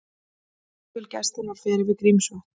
Flugvél Gæslunnar fer yfir Grímsvötn